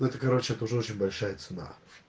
ну это короче это уже очень большая цена